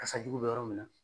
Kasa jugu bɛ yɔrɔ min na